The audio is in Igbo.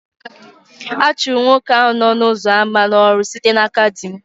A chụrụ nwoke ahụ n'ọnụ ụzọ ámá n'ọrụ site n'aka di m